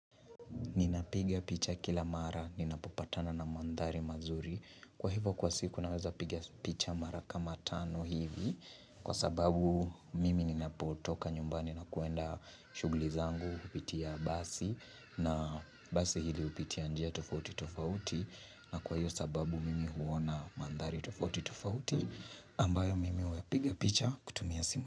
Ninapiga picha kila mara. Ninapopatana na mandari mazuri. Kwa hivyo kwa siku naweza picha mara kama tano hivi. Kwa sababu mimi ninapotoka nyumbani na kuenda shughuli zangu hupitia basi na basi hili hupitia njia tofauti tofauti. Na kwa hivyo sababu mimi huona mandari tofauti tofauti ambayo mimi hupiga picha kutumia simu.